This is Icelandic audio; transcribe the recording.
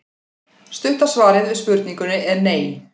Stutta svarið við spurningunni er nei.